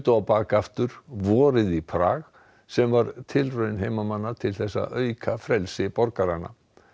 á bak aftur vorið í Prag sem var tilraun til þess að auka frelsi borgaranna